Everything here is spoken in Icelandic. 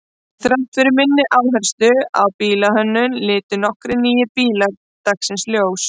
Þrátt fyrir minni áherslu á bílahönnun litu nokkrir nýir bílar dagsins ljós.